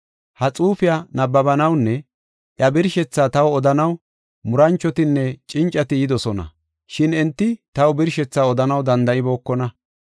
Ha xuufiya nabbabanawunne iya birshethaa taw odanaw muranchotinne cincati yidosona; shin enti taw birshethaa odanaw danda7ibookona.